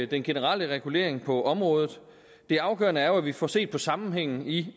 den generelle regulering på området det afgørende er jo at vi får set på sammenhængen i